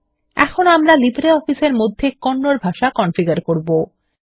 এখন আমরা লিব্রিঅফিস এর মধ্যে কন্নড ভাষা কনফিগার করব